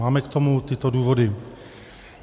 Máme k tomu tyto důvody.